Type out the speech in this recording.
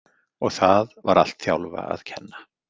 Og það var allt Þjálfa að kenna.